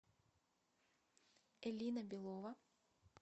элина белова